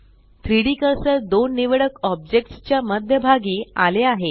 3Dकर्सर दोन निवडक ऑब्जेक्ट्स च्या मध्य भागी आले आहे